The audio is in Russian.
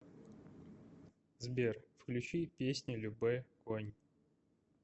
сбер включи песню любэ конь